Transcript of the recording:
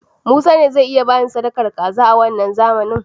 Musa ne zai iya bani sadakar kaza a wanna zamanin.